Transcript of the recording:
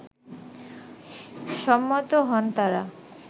সম্মত হন তারা